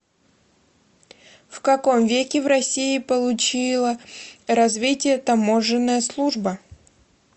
в каком веке в россии получила развитие таможенная служба